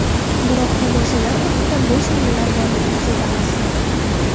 Biroq tomoshalar vaqtida bo‘sh o‘rinlar borligini sezamiz.